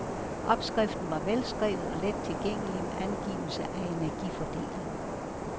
Opskriften var velskrevet og let tilgængelig med angivelse af energifordeling.